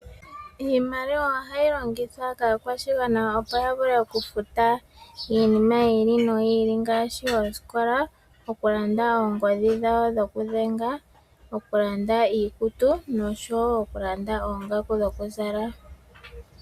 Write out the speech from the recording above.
Iimaliwa oha yi longithwa kaakwashigwa opo ya vule okufuta iinima yiili noyiili ngaashi oosikola , okulanda oongodhi dhawo dhokudhenga, okulanda iikutu noshowo okulanda oongaku dhokuzala.